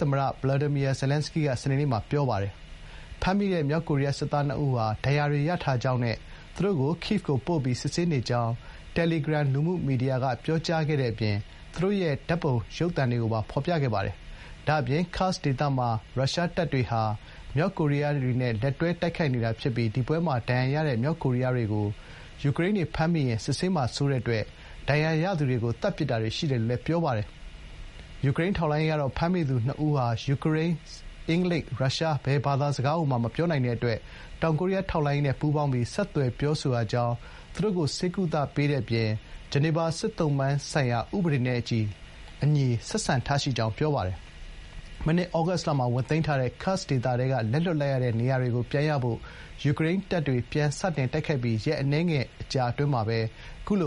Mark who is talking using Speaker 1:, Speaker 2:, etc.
Speaker 1: သမ္မတ Volodymyr Zelenskyy က စနေနေ့မှာ ပြောပါတယ်။ ဖမ်းမိတဲ့ မြောက်ကိုရီးယား စစ်သား ၂ ဦးဟာ ဒဏ်ရာတွေ ရထားကြောင်းနဲ့ သူတို့ကို Kyiv ကို ပို့ပြီး စစ်ဆေးနေကြောင်း တယ်လီဂရမ် လူမှုမီဒီယာက ပြောကြားခဲ့တဲ့ အပြင် သူတို့ရဲ့ ဓာတ်ပုံကိုပါ ဖေါ်ပြခဲ့ပါတယ်။ ဒါ့အပြင် Kursk ဒေသမှာ ရုရှားတပ်တွေဟာ မြောက်ကိုရီးယားတွေနဲ့ လက်တွဲ တိုက်ခိုက် နေတာ ဖြစ်ပြီး တိုက်ပွဲမှာ ဒဏ်ရာရတဲ့ မြောက်ကိုရီးယားတွေကို ယူကရိန်းတွေ ဖမ်းမိရင် စစ်ဆေးမှာ စိုးတဲ့အတွက် ဒဏ်ရာရသူတွေကို သတ်ပစ်တာတွေ ရှိတယ်လို့လည်း ပြောပါတယ်။ ယူကရိန်း ထောက်လှန်းရေးကတော့ ဖမ်းမိသူ ၂ ဦးဟာ ယူကရိန်း၊ အင်္ဂလိပ်၊ ရုရှား ဘယ်စကားကိုမှ မပြောနိုင်တဲ့ အတွက် တော်ကိုရီးယား ထောက်လှန်းရေးနဲ့ ပူးပေါင်းပြီး ဆက်သွယ်ပြောဆိုရကြောင်း သူတို့ိကို ဆေးကုသပေးတဲ့ အပြင် ဂျနီဗာ စစ်သုံ့ပန်းဆိုင်ရာ ဥပဒေနဲ့အညီ ဆက်ဆံထားရှိကြောင်း ပြောပါတယ်။ မနှစ်သြဂုတ်လမှာ ဝင်သိမ်းထားတဲ့ ဒီဒေသထဲက လက်လွှတ်လိုက်ရတဲ့ နေရာတွေကို ပြန်ရဖို့ ယူကရိန်းတွေ ပြန်စတိုက်ခိုက်ပြီး ရက်အန
Speaker 2: ည်းငယ် အတွင်းမှာပဲ အခုလိ